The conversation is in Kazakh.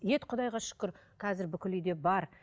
ет құдайға шүкір қазір бүкіл үйде бар